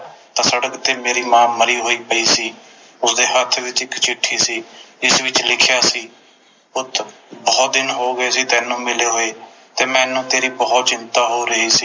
ਤਾ ਸੜਕ ਤੇ ਮੇਰੀ ਮਾਂ ਮਰੀ ਹੋਈ ਪਈ ਸੀ ਉਸਦੇ ਹੱਥ ਵਿਚ ਇਕ ਚਿੱਠੀ ਸੀ ਜਿਸ ਵਿਚ ਲਿਖਿਆ ਸੀ ਪੁੱਤ ਬੋਹੋਤ ਦਿਨ ਹੋਗੇ ਸੀ ਤੈਨੂੰ ਮਿਲੇ ਹੋਏ ਤੇ ਮੈਨੂੰ ਬੋਹੋਤ ਚਿੰਤਾ ਹੋ ਰਹੀ ਸੀ